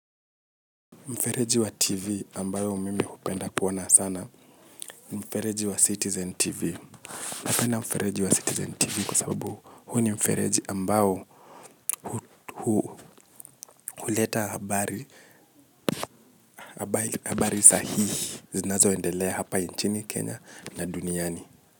Mfereji wa tv ambayo mimi hupenda kuona sana mfereji wa citizen tv. Napenda mfereji wa citizen tv kwa sababu huu ni mfereji ambayo huleta habari sahihi zinazoendelea hapa nchini Kenya na duniani.